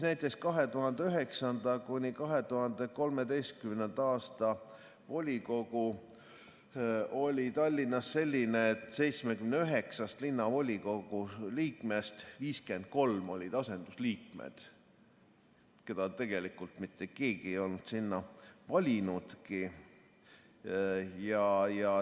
2009.–2013. aasta volikogu oli Tallinnas selline, et 79 linnavolikogu liikmest 53 olid asendusliikmed, keda tegelikult mitte keegi ei olnud sinna valinudki.